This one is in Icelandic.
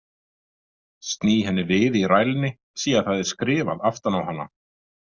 Sný henni við í rælni, sé að það er skrifað aftan á hana.